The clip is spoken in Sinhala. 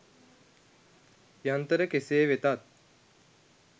යන්තර කෙසේ වෙතත්